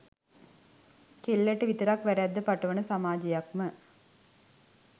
කෙල්ලට විතරක් වැරැද්ද පටවන සමාජයක්ම